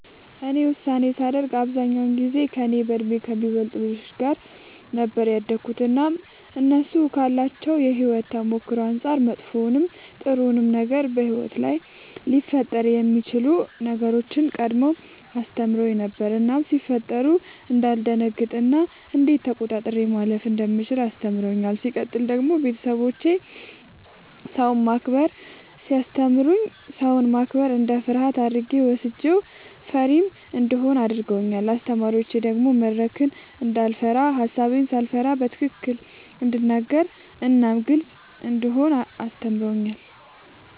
እኔ ሳድግ አብዛኛውን ጊዜ ከእኔ በእድሜ ከሚበልጡ ልጆች ጋር ነበር ያደግሁትኝ እናም እነሱ ካላቸው የሕይወት ተሞክሮ አንጻር መጥፎውንም ጥሩውንም ነገር በሕይወት ላይ ሊፈጠሩ የሚችሉ ነገሮችን ቀድመው አስተምረውኝ ነበር እናም ሲፈጠሩ እንዳልደነግጥ እና እንዴት ተቆጣጥሬ ማለፍ እንደምችል አስተምረውኛል። ሲቀጥል ደግሞ ቤተሰቦቼ ሰውን ማክበርን ሲያስተምሩኝ ሰውን ማክበር እንደ ፍርሃት አድርጌ ወስጄው ፈሪም እንደሆን አድርገውኛል። አስተማሪዎቼ ደግሞ መድረክን እንዳይፈራ ሐሳቤን ሳልፈራ በትክክል እንድናገር እናም ግልጽ እንደሆን አስተምረውኛል።